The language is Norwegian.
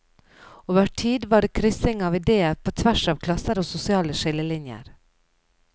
Over tid var det kryssing av ideer på tvers av klasser og sosiale skillelinjer.